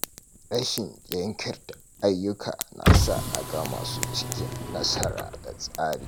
Rashin jinkirta ayyuka na sa a gama su cikin nasara da tsari.